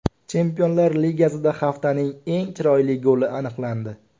Chempionlar Ligasida haftaning eng chiroyli goli aniqlandi.